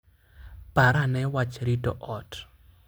Par ane wach rito ot.